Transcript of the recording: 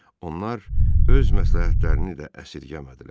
Onlar öz məsləhətlərini də əsirgəmədilər.